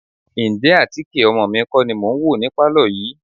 Ǹjẹ́ àtíkè ọmọ mi kọ́ ni mò ń wò ní pálọ̀ yìí?